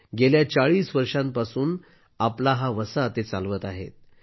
ते गेल्या 40 वर्षांपासून आपला हा वसा चालवत आहेत